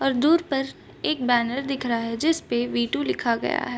और दूर पर एक बैनर दिख रहा है जिसपे वी टू लिखा गया है।